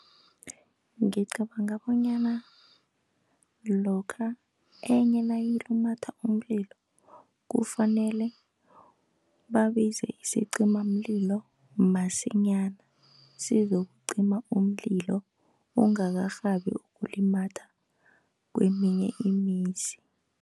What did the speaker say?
Ngicabanga bonyana lokha enye nayilumatha umlilo, kufanele babize isicimamlilo masinyana sizokucima umlilo, ungakarhabi ukulumatha keeminye imizi.